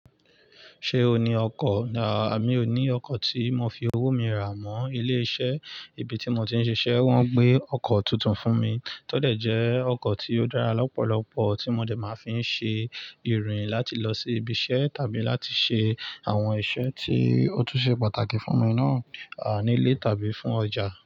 Ṣé o ní ọkọ̀? Mí ò ní ọkọ̀ tí mo fi owó mi rà mọ ilé iṣẹ́. Ibi tí mo ti ń ṣiṣẹ́ wọ́n gbé ọkọ̀ tuntun fún mi. Tọ́ dẹ̀ jẹ́ ọkọ̀ tí ó dára lọ́pọ̀lọpọ̀ tí mo dẹ̀ máa fi ń ṣe ìrìn láti lọ sí ibi iṣẹ́ tàbí láti ṣe àwọn iṣẹ́ tí ó túń ṣe pàtàkì fún mi náà, nílé tàbí fún ọjà.